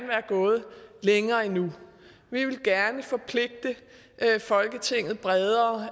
være gået længere endnu vi ville gerne forpligte folketinget bredere